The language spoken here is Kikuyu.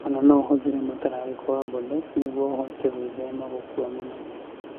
O na no ũhũthĩre mũtararĩko wa Bordeaux nĩguo ũhote gwĩthema gũkua mũno.